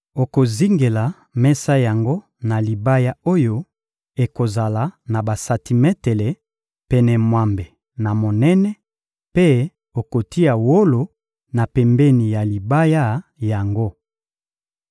Okozingela mesa yango na libaya oyo ekozala na basantimetele pene mwambe na monene, mpe okotia wolo na pembeni ya libaya yango.